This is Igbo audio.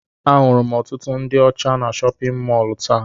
Ahụrụ m ọtụtụ ndị ọcha na chọpịn mọọlụ taa.